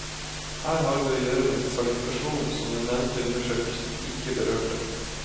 Her har vi å gjøre med en kvalifikasjon som den nevnte undersøkelsen ikke berørte.